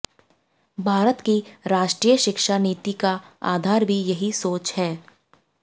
भारत की राष्ट्रीय शिक्षा नीति का आधार भी यही सोच है